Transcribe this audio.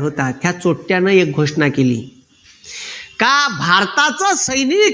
होता या एक घोषणा केली का भारताचं सैनिक